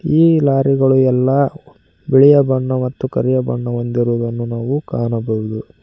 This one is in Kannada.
ಈ ಲಾರಿಗಳು ಎಲ್ಲಾ ಬಿಳಿಯ ಬಣ್ಣ ಮತ್ತು ಕರಿಯ ಬಣ್ಣ ಹೊಂದಿರುವುದನ್ನು ನಾವು ಕಾಣಬಹುದು.